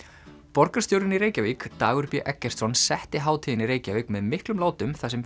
borgarstjórinn í Reykjavík Dagur b Eggertsson setti hátíðina í Reykjavík með miklum látum þar sem